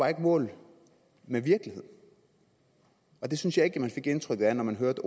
ikke mål med virkeligheden og det synes jeg ikke at man fik indtrykket af når man hørte